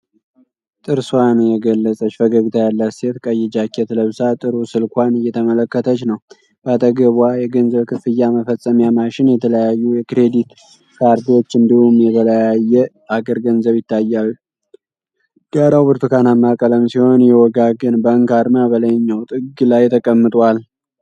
ጥርስዋን የገለጸች ፈገግታ ያላት ሴት ቀይ ጃኬት ለብሳ ጥቁር ስልክዋን እየተመለከተች ነው። በአጠገብዋ የገንዘብ ክፍያ መፈጸሚያ ማሽን፣ የተለያዩ የክሬዲት ካርዶች እንዲሁም የተለያየ ሀገር ገንዘብ ይታያል። ዳራው ብርቱካናማ ቀለም ሲሆን፣ የዌጋገን ባንክ አርማ በላይኛው ጥግ ላይ ተቀምጧል።